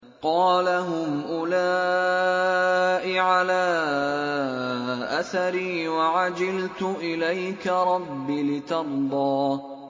قَالَ هُمْ أُولَاءِ عَلَىٰ أَثَرِي وَعَجِلْتُ إِلَيْكَ رَبِّ لِتَرْضَىٰ